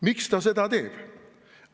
Miks ta seda teeb?